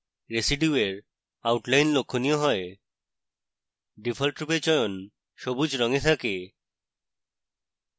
রেসিডিউয়ের outline লক্ষণীয় হয় ডিফল্টরূপে চয়ন সবুজ রঙে থাকে